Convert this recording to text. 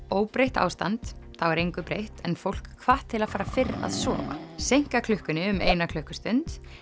óbreytt ástand þá er engu breytt en fólk hvatt til að fara fyrr að sofa seinka klukkunni um eina klukkustund